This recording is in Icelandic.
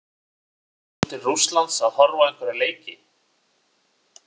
Ætlar þú til Rússlands að horfa á einhverja leiki?